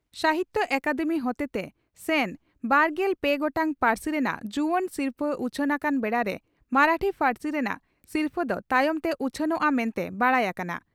ᱥᱟᱦᱤᱛᱭᱚ ᱟᱠᱟᱫᱮᱢᱤ ᱦᱚᱛᱮᱛᱮ ᱥᱮᱱ ᱵᱟᱨᱜᱮᱞ ᱯᱮ ᱜᱚᱴᱟᱝ ᱯᱟᱹᱨᱥᱤ ᱨᱮᱱᱟᱜ ᱡᱩᱣᱟᱹᱱ ᱥᱤᱨᱯᱷᱟᱹ ᱩᱪᱷᱟᱹᱱ ᱟᱠᱟᱱ ᱵᱮᱲᱟᱨᱮ ᱢᱚᱨᱟᱴᱷᱤ ᱯᱟᱹᱨᱥᱤ ᱨᱮᱱᱟᱜ ᱥᱤᱨᱯᱷᱟᱹ ᱫᱚ ᱛᱟᱭᱚᱢ ᱛᱮ ᱩᱪᱷᱟᱹᱱᱚᱜᱼᱟ ᱢᱮᱱᱛᱮ ᱵᱟᱰᱟᱭ ᱟᱠᱟᱱᱟ ᱾